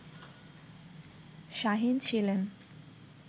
শাহীন ছিলেন